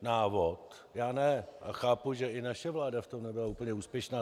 Já ne a chápu, že i naše vláda v tom nebyla úplně úspěšná.